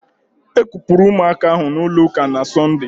E kupụrụ ụmụaka ahụ n'ụlọ ụka na Sọnde